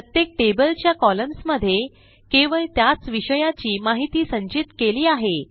प्रत्येक टेबल च्या कॉलम्न्स मध्ये केवळ त्याच विषयाची माहिती संचित केली आहे